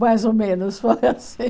Mais ou menos foi assim.